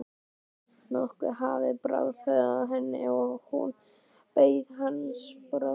Nokkuð hafði bráð af henni og hún beið hans brosandi.